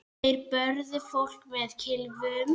Þeir börðu fólk með kylfum.